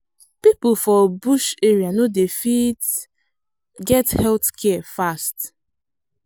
people for bush area no dey fit get health care fast.